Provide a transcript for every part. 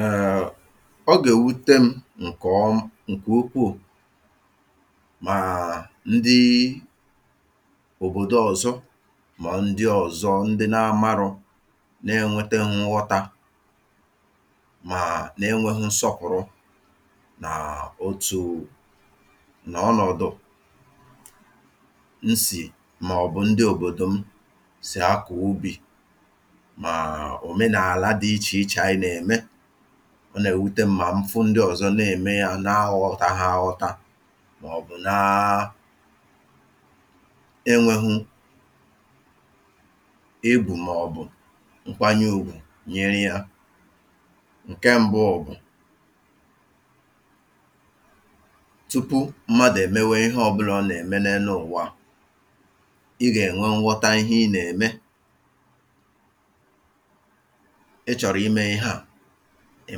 èèèèè ọ gà èwute m̄ ǹkẹ̀ ọ..ǹkẹ̀ ukwù mààà..ndịịị òbòdo ọ̀zọ mà ọ̀ ndị ọ̀zọ ndị nā marọ̄ nā ẹnwẹtẹghị nghọtā maaà nà ẹ nwẹghụ nsọpụ̀rụ nàà.. otùù nà ọnọ̀dụ̀ nsì mà ọ̀ bụ̀ ndị òbòdò m sì akọ̀ ubì maà òmenàla dị ichè ichè anyị nà ẹ̀mẹ ọ nà èwute m̄ mà m fụ ndị ọ̀zọ nà ème yā na aghọtaha aghọta mà ọ̀ bụ̀ naa na ẹnwẹghu egwù mà ọ̀ bụ̀ ǹkwanye ugwù nyẹrẹ hā ǹkẹ mbụ bụ̀ tupu mmadù ẹ̀mẹwẹ ihe ọbụlā ị gà ẹ̀nwẹ nghọta ihe ị nà ẹ̀mẹ ị chọ̀rọ̀ imẹ̄ ihe à ị̀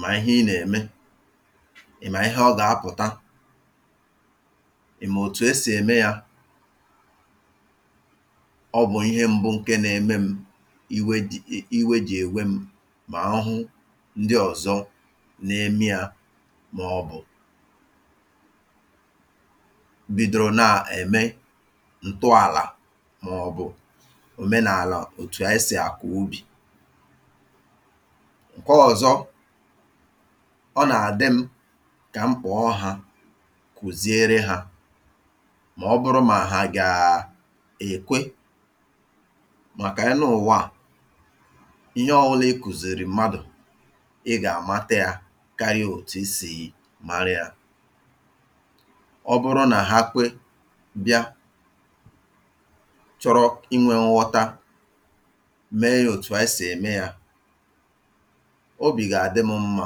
màrà ihe ị nà ẹ̀mẹ ị̀ màrà ihe ọ gà apụ̀ta ị̀mà òtù esì ẹ̀mẹ yā ọ bụ̀ ihe mbụ ǹkẹ nā eme m iwe jị̀.. iwe jị̀ ẹ̀wẹ m mà ọhụ ndị ọ̀zọ na ẹmẹ yā mà ọ̀ bụ̀ bidoro nà ẹ̀mẹ ǹtọàlà mà ọ̀ bụ̀ òmenàlà otù anyị sì akọ̀ ubì ǹkẹ ọ̀zọ ọ nà àdị m kà m kpọ̀ ha kùziere hā mà ọ bụrụ mà hà àgà èkwe màkà enu uwà à ihe ọ bụnà ị kùzìrì mmadù ị gà àmata yā karịa otù ị sì mara yā ọ bụrụ nà ha kwe bịa chọrọ ị nwē nghọta mee yā otù anyị sì ẹmẹẹ yā obì gà àdị m̄ mmā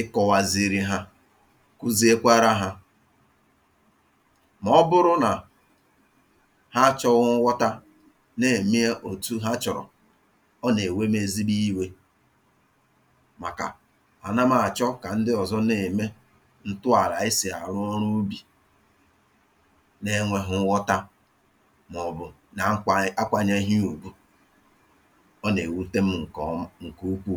ị kọ̄waziri ha kuzie kwara hā mà ọ bụrụ nà ha achọ̄ghị nghọta nà ẹ̀mẹ ya otù ha chọ̀rọ̀ ọ nà èwe m̄ ezigbo iwē màkà à na m àchọ kà ndị ọzọ nà ème ǹtụàlà e sì àrụrụ n’ubì nā ẹnwẹ̄ghụ nghọta mà ọ̀ bụ̀ nā nkwā..akwānyẹghị ya ùgwù ọ nà èwute m̄ ǹkẹ̀ ọm..ǹkẹ̀ ukwù